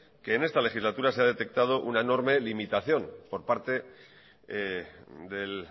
que en esta legislatura se ha detectado una enorme limitación por parte del